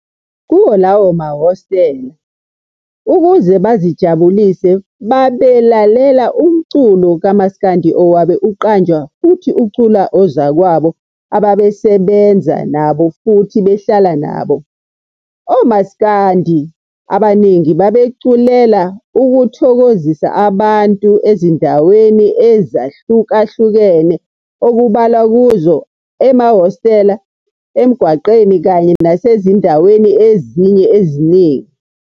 Kuwo lamahostela ukuze bazijabulise babelalela umculo kamsakandi owabe uqanjwa futhi uculwa ozakwabo ababesebenza nabo futhi behlala nabo. OMasikandi abaningi babeculela ukuthokozisa abantu ezindaweni ezahlukahlukene okubalwa kuzo emahostela, emgwaqeni kanye nasezindaweni ezinye eziningi.